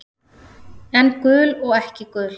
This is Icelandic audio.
En gul og ekki gul.